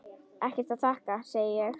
Ekkert að þakka, segi ég.